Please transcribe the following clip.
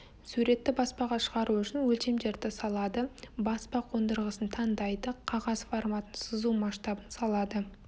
суретті баспаға шығару үшін өлшемдерді салады баспа қондырғысын таңдайды қағаз форматын сызу масштабын салады